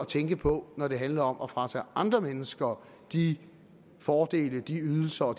tænke på når det handler om at fratage andre mennesker de fordele ydelser og